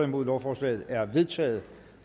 nul lovforslaget er vedtaget